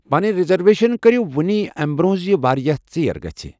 پنٕنہِ رِزرویشن كرِیو وٗنہِ امہِ برونہہ زِ وارِیاہ ژیر گژھِ !